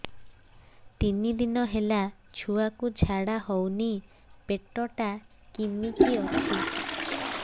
ତିନି ଦିନ ହେଲା ଛୁଆକୁ ଝାଡ଼ା ହଉନି ପେଟ ଟା କିମି କି ଅଛି